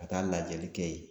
Ka taa lajɛli kɛ yen